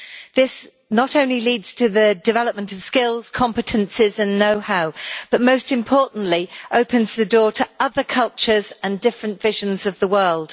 This not only leads to the development of skills, competences and knowhow but most importantly opens the door to other cultures and different visions of the world.